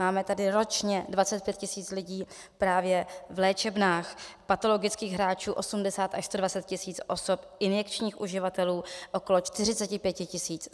Máme tady ročně 25 tisíc lidí právě v léčebnách, patologických hráčů 80 až 120 tisíc osob, injekčních uživatelů okolo 45 tisíc.